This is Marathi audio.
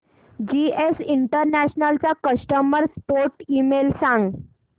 जीएस इंटरनॅशनल चा कस्टमर सपोर्ट ईमेल सांग